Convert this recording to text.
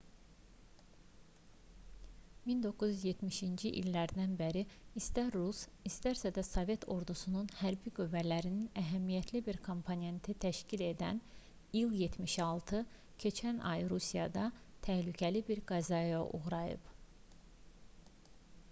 1970-ci illərdən bəri istər rus istərsə də sovet ordusunun hərbi qüvvələrinin əhəmiyyətli bir komponentini təşkil edən il-76 keçən ay rusiyada təhlükəli bir qəzaya uğrayıb